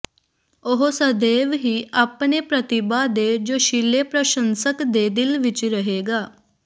ਉਹ ਸਦੀਵ ਹੀ ਆਪਣੇ ਪ੍ਰਤਿਭਾ ਦੇ ਜੋਸ਼ੀਲੇ ਪ੍ਰਸ਼ੰਸਕ ਦੇ ਦਿਲ ਵਿੱਚ ਰਹੇਗਾ